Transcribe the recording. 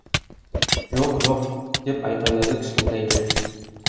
жоқ жоқ деп айқайлады кішкентай джек